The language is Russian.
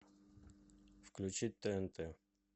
включить тнт